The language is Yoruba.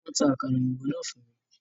Wọ́n ta àkàrà òyìnbó náà fún mi